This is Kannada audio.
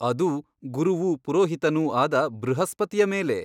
ಅದೂ ಗುರುವೂ ಪುರೋಹಿತನೂ ಆದ ಬೃಹಸ್ಪತಿಯ ಮೇಲೆ?